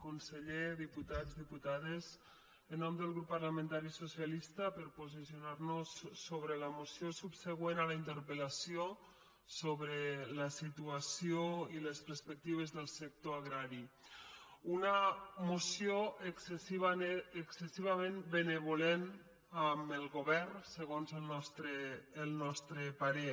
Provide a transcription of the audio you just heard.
conseller diputats diputades en nom del grup parlamentari socialista per posicio·nar·nos sobre la moció subsegüent a la interpel·lació sobre la situació i les perspectives del sector agrari una moció excessivament benvolent amb el govern segons el nostre parer